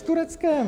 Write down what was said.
S Tureckem.